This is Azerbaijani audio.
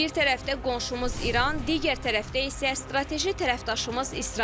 Bir tərəfdə qonşumuz İran, digər tərəfdə isə strateji tərəfdaşımız İsrail.